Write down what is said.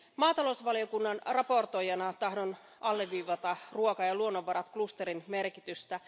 Maatalousvaliokunnan valmistelijana tahdon alleviivata ruoka ja luonnonvaraklusterin merkitystä.